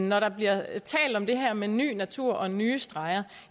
når der bliver talt om det her med ny natur nye streger